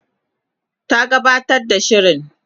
ta gabatar da shirin